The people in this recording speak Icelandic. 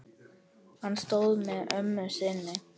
Hann stóð með ömmu sinni.